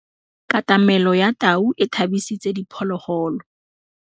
Katamêlô ya tau e tshabisitse diphôlôgôlô.